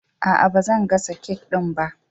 Aa, bazan gasa kek ɗin ba